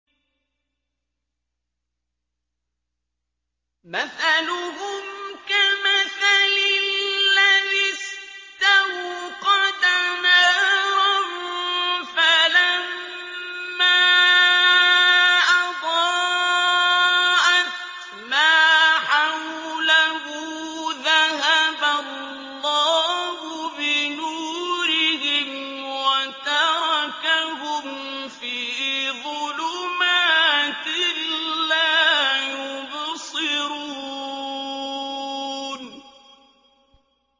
مَثَلُهُمْ كَمَثَلِ الَّذِي اسْتَوْقَدَ نَارًا فَلَمَّا أَضَاءَتْ مَا حَوْلَهُ ذَهَبَ اللَّهُ بِنُورِهِمْ وَتَرَكَهُمْ فِي ظُلُمَاتٍ لَّا يُبْصِرُونَ